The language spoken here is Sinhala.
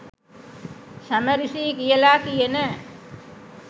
සමරිසි යි කියලා කියන